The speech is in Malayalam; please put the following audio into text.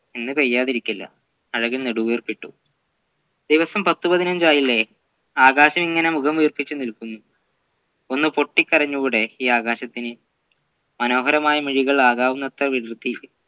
ഇന്നു പെയ്യാതിരിക്കില്ല അഴകൻ നടുവീർപ്പിട്ടു ദിവസം പത്തു പതിനഞ്ചായില്ലേ ആകാശം ഇങ്ങനെ മുഖം വീർപ്പിച്ചു നിൽക്കുന്നു ഒന്ന് പൊട്ടികരഞ്ഞൂടെ ഈ ആകാശത്തിന് മനോഹരമായ മിഴികൾ ആകാവുന്നത്ര വിടർത്തി